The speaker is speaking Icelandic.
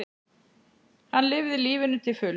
Hann lifði lífinu til fulls.